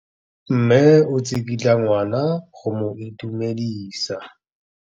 Mme o tsikitla ngwana go mo itumedisa.